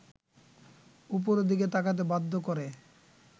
উপরের দিকে তাকাতে বাধ্য করে